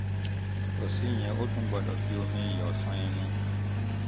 yàtọ̀ síyẹn o tún gbọ́dọ̀ fi omi iyọ̀ ṣan ẹnu